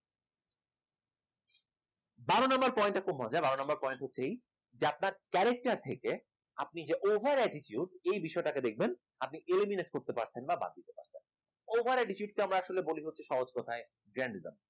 বারো number point খুব মজার বারো number point হচ্ছে এই যে আপনার character থেকে আপনি যে over attitude এই বিষয়টাকে দেখবেন আপনি eliminate করতে পারছেন না বা কিছু একটা over attitude কে আসলে বলি হচ্ছে সহজ কথায় জ্ঞান নিলাম